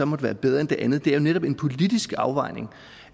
måtte være bedre end det andet det er jo netop en politisk afvejning